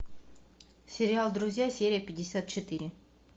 сериал друзья серия пятьдесят четыре